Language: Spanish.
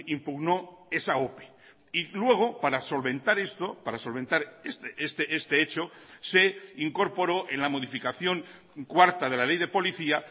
impugnó esa ope y luego para solventar esto para solventar este hecho se incorporó en la modificación cuarta de la ley de policía